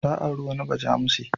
Ta auri wani bajamushe.